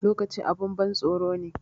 Lokaci abun ban tsoro ne